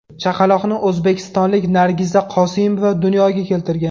Chaqaloqni o‘zbekistonlik Nargiza Qosimova dunyoga keltirgan.